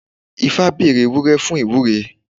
Ifá bèrè ewúré fún ìwúre.